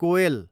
कोएल